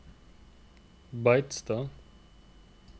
Beitstad